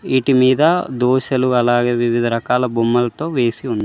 వీటి మీద దోశలు అలాగే వివిధ రకాల బొమ్మలతో వేసి ఉంది.